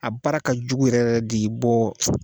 A baara ka jugu yɛrɛ de bɔ